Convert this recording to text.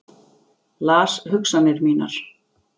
Las hugsanir mínar.